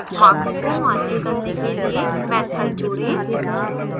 marks को मान्य करने के लिए method जोड़ें